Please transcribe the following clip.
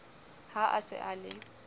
ha a se a le